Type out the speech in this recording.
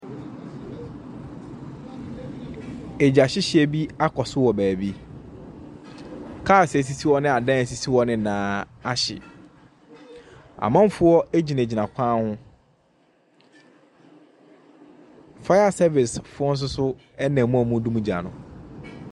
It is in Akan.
Egya hyehyeɛ bi akɔso wɔ beebi. Kaas esisi hɔ ne adan esisi hɔ nyinaa ahye. Amanfoɔ egyinagyina kwa ho. Faya sɛvis foɔ soso ena mu a ɔmo dum gya no.